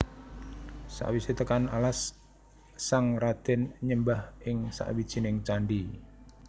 Sakwisé tekan alas sang radén nyembah ing sawijining candhi